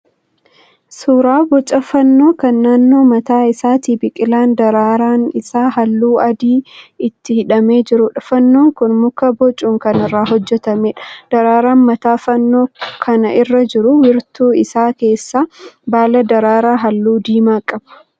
Suuraa boca fannoo kan naannoo mataa isaatti biqilaan daraaraan isaa halluu adii itti hidhamee jiruudha. Fannoon kun muka bocuun kan irraa hojjetameedha. Daraaraan mataa fannoo kana irra jiru wiirtuu isaa keessaa baala daraaraa halluu diimaa qaba.